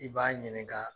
I b'a ɲininka